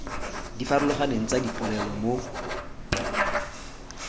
di farologaneng tsa dipolelo mo